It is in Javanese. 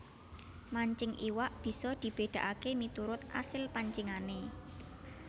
Mancing iwak bisa dibédakaké miturut asil pancingané